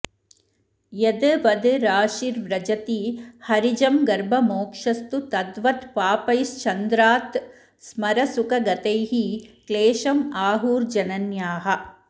यद् वद् राशिर्व्रजति हरिजं गर्भ मोक्षस्तु तद्वत् पापैश्चन्द्रात् स्मर सुख गतैः क्लेशम् आहुर्जनन्याः